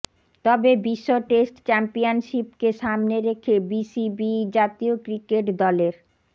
তবে বিশ্ব টেস্ট চ্যাম্পিয়নশিপকে সামনে রেখে বিসিবি জাতীয় ক্রিকেট দলের